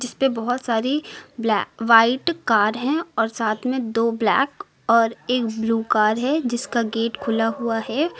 इसपे बहुत सारी ब्लैक व्हाइट कार है और साथ में दो ब्लैक और एक ब्लू कार है जिसका गेट खुला हुआ है।